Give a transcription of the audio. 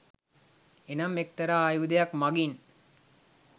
එනම් එක්තරා ආයුධයක් මඟින්